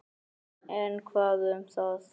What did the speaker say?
En hvað um það